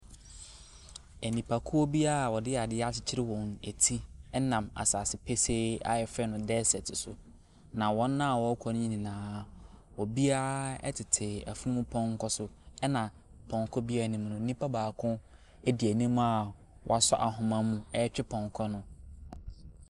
Nnipahuo bi a wɔde adeɛ akyekyerɛ wɔn ti nam asase pesee a yɛfrɛ no seaert so. Na wɔn a wɔrekɔ no nyinaa obiara tete afunumu pɔnkɔ so ɛna pɔnkɔ biara anim no nipa baako di anim a wasɔ ahoma mu retwe pɔnkɔ no.